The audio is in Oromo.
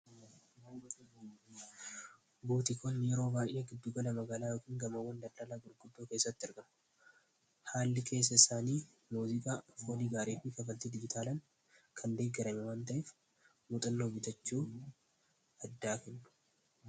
buutiikonni yeroo giddugala magalaa yokiin gamawwanda llalaa gulguddoo keessatti ergamu haalli keessa isaanii muuziqaa folii gaariitii kafaltii dibitaalan kan deeggeranya wanta'eef muxalloo bitachuu addaa kennu